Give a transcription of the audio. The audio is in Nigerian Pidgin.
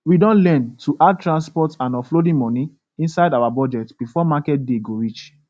we don learn to add transport and offloading money inside our budget before market day go reach